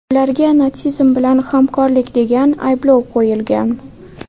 Ularga natsizm bilan hamkorlik degan ayblov qo‘yilgan.